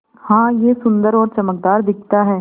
हाँ यह सुन्दर और चमकदार दिखता है